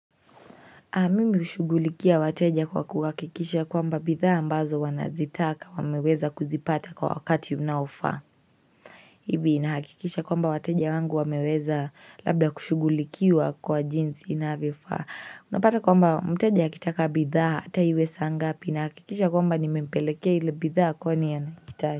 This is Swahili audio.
Mimi hushugulikia wateja kwa kuhakikisha kwamba bidhaa ambazo wanazitaka wameweza kuzipata kwa wakati unaofaa hivi nahakikisha kwamba wateja wangu wameweza labda kushugulikiwa kwa jinzi inavyofaa unapata kwamba mteja akitaka bidhaa ataiwe saa ngapi na hakikisha kwamba nimempelekea hile bidhaa kwa ni yanakitaji.